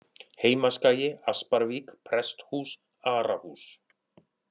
Heimaskagi, Asparvík, Presthús, Arahús